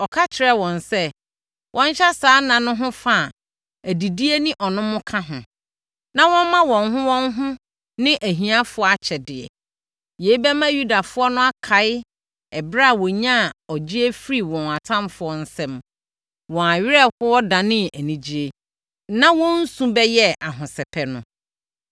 Ɔka kyerɛɛ wɔn sɛ, wɔnhyɛ saa nna no ho fa a adidie ne ɔnom ka ho, na wɔmma wɔn ho wɔn ho ne ahiafoɔ akyɛdeɛ. Yei bɛma Yudafoɔ no akae ɛberɛ a wɔnyaa ɔgyeɛ firii wɔn atamfoɔ nsam, wɔn awerɛhoɔ danee anigyeɛ, na wɔn su bɛyɛɛ ahosɛpɛ no.